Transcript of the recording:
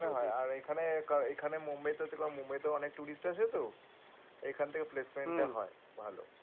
মনে হয় আর এখানে এখানে মুম্বাই থেকে অনেক আসে তো এখান থেকে হয় ভালো